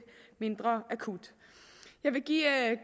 mindre akut jeg vil give